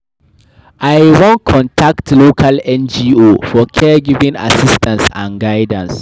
I wan contact local NGO for caregiving assistance and guidance.